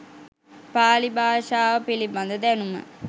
පාලි භාෂාව පිළිබඳ දැනුම